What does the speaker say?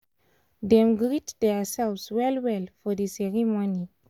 dem greet theirselves well well for the ceremony